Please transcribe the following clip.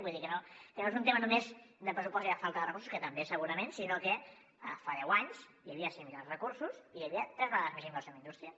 vull dir que no és un tema només de pressupost i de falta de recursos que també segurament sinó que fa deu anys hi havia similars recursos i hi havia tres vegades més inversió en indústria